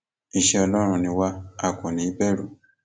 iṣẹ ọlọrun ni wà á kò ní í bẹrù